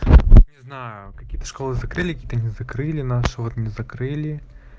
не знаю какие-то школы закрыли какие-то не закрыли нашу вот не закрыли